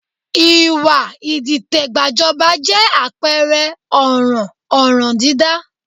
Ìwà ìdìtẹ̀gbàjọba jẹ́ àpẹẹrẹ ọ̀ràn ọ̀ràndídá